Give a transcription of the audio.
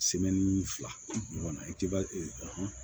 fila ɲɔgɔn i ti ba